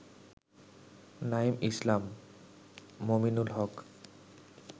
Naim Islam, Mominul Haque